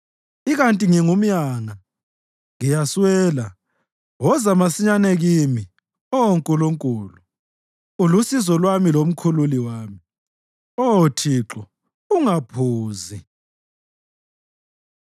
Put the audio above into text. Ikanti ngingumyanga ngiyaswela; woza masinyane kimi, Oh Nkulunkulu. Ulusizo lwami lomkhululi wami; Oh Thixo, ungaphuzi.